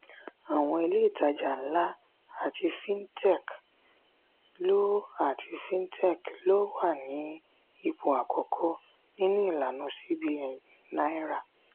àwọn ilé ìtajà ńlá àti fintech ló àti fintech ló wà ní ipò àkọ́kọ́ nínú ìlànà cbn naira